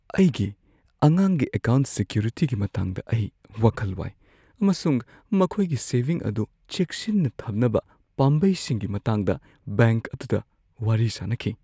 ꯑꯩꯒꯤ ꯑꯉꯥꯡꯒꯤ ꯑꯦꯀꯥꯎꯟꯠ ꯁꯤꯀ꯭ꯌꯨꯔꯤꯇꯤꯒꯤ ꯃꯇꯥꯡꯗ ꯑꯩ ꯋꯥꯈꯜ ꯋꯥꯏ ꯑꯃꯁꯨꯡ ꯃꯈꯣꯏꯒꯤ ꯁꯦꯚꯤꯡ ꯑꯗꯨ ꯆꯦꯛꯁꯤꯟꯅ ꯊꯝꯅꯕ ꯄꯥꯝꯕꯩꯁꯤꯡꯒꯤ ꯃꯇꯥꯡꯗ ꯕꯦꯡꯛ ꯑꯗꯨꯗ ꯋꯥꯔꯤ ꯁꯥꯅꯈꯤ ꯫